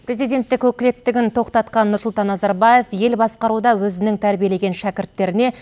президенттік өкілеттігін тоқтатқан нұрсұлтан назарбаев ел басқаруда өзінің тәрбиелеген шәкірттеріне